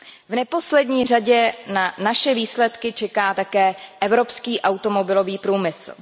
V neposlední řadě na naše výsledky čeká také evropský automobilový průmysl.